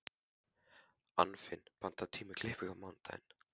Anfinn, pantaðu tíma í klippingu á mánudaginn.